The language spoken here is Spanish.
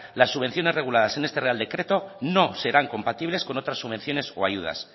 las subvenciones reguladas en este real decreto no serán compatibles con otras subvenciones o ayudas